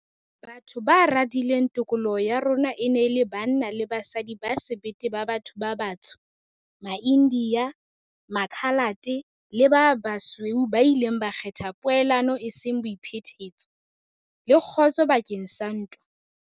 Batho ba radileng tokoloho ya rona e ne e le banna le basadi ba sebete ba batho ba batsho, maIndiya, Makhalate le ba basweu ba ileng ba kgetha poelano eseng boiphetetso, le kgotso bakeng sa ntwa.